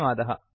धन्यवादः